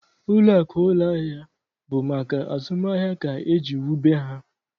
Ụlọakụ ụlọahịa bụ maka azụmahịa ka e jiri wube ha.